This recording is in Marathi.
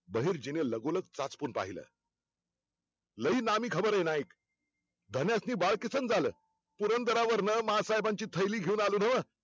बहिर्जीने लगोलग चाचपून पाहिल लई नामी खबर हाय नाईक धान्यसनी बालकिसन झालं. पुरंदरावरण माँसाहेबांची थैली घेऊन आलो नव्ह